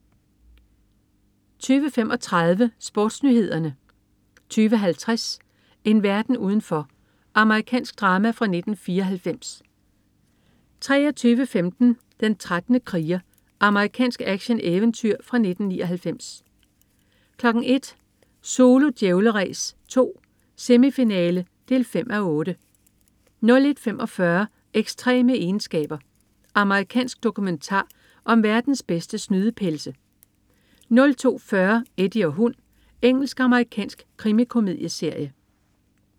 20.35 SportsNyhederne 20.50 En verden udenfor. Amerikansk drama fra 1994 23.15 Den 13. kriger. Amerikansk actioneventyrfilm fra 1999 01.00 Zulu Djævleræs 2: Semifinale 5:8 01.45 Ekstreme egenskaber. Amerikansk dokumentar om verdens bedste snydepelse 02.40 Eddie og hund. Engelsk-amerikansk krimikomedieserie